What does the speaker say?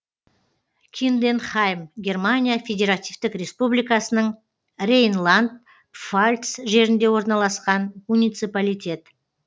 кинденхайм германия федеративтік республикасының рейнланд пфальц жерінде орналасқан муниципалитет